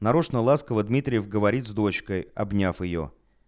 нарочно ласково дмитриев говорит с дочкой обняв её